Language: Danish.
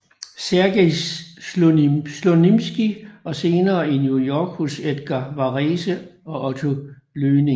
Sergej Slonimskij og senere i New York hos Edgar Varese og Otto Luening